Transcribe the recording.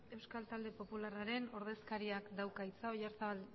euskal talde popularraren ordezkariak dauka hitza oyarzabal